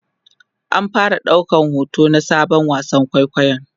an fara daukar hoto na Sabon wasan kwaikwayon